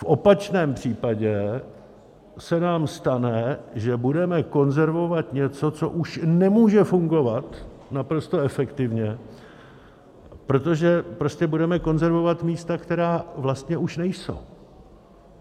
V opačném případě se nám stane, že budeme konzervovat něco, co už nemůže fungovat naprosto efektivně, protože prostě budeme konzervovat místa, která vlastně už nejsou.